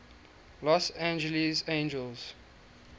los angeles angels